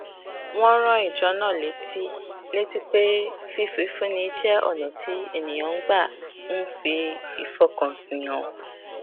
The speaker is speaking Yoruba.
wón rán ìjọ náà létí létí pé fífúnni jé ònà tí ènìyàn gbà ń fi ìfọkànsìn hàn